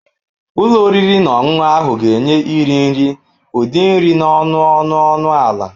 Ụlọ oriri na ọṅụṅụ ahụ ga-enye iri nri ụdị nri n'ọnụ ọnụ ọnụ ala.